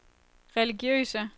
religiøse